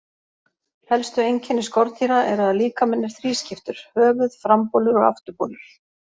Helstu einkenni skordýra eru að líkaminn er þrískiptur: höfuð, frambolur og afturbolur.